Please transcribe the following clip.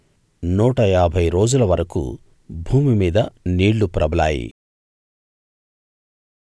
నూట ఏభై రోజుల వరకూ భూమి మీద నీళ్ళు ప్రబలాయి